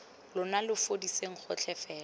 lona lo fudiseng gotlhe fela